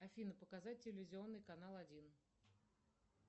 афина показать телевизионный канал один